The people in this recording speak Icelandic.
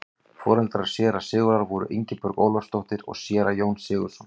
foreldrar séra sigurðar voru ingibjörg ólafsdóttir og séra jón sigurðsson